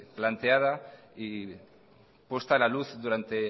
planteada y puesta a la luz durante